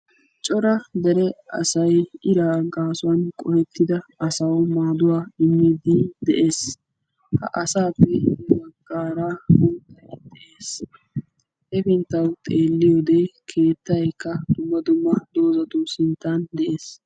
Cora dere asay iraa gaasuwan qohettida asawu maaduwa immiiddi de'es. Ha asaappe guyye baggaara mittay de'es. hepinttan xeelliyoode keettayikka dumma dumma doozatu sinttan de'es.